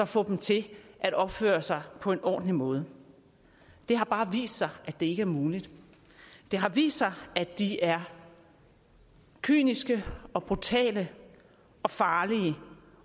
få dem til at opføre sig på en ordentlig måde det har bare vist sig at det ikke er muligt det har vist sig at de er kyniske og brutale og farlige